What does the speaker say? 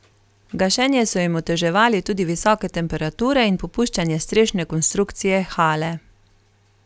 Gašenje so jim oteževali tudi visoke temperature in popuščanje strešne konstrukcije hale.